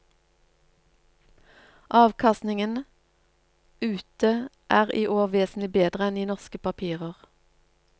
Avkastningen ute er i år vesentlig bedre enn i norske papirer.